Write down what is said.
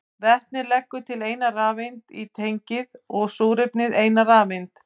Vetnið leggur til eina rafeind í tengið og súrefnið eina rafeind.